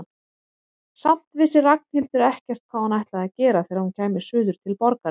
Samt vissi Ragnhildur ekkert hvað hún ætlaði að gera þegar hún kæmi suður til borgarinnar.